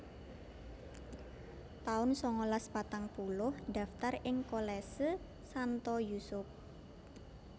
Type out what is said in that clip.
taun sangalas patang puluh ndaftar ing Kolese Santo Yusup